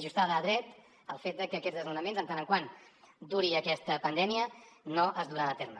ajustada a dret el fet de que aquests desnonaments mentre duri aquesta pandèmia no es duran a terme